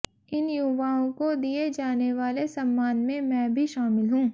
इन युवाओं को दिए जाने वाले सम्मान में मैं भी शामिल हूं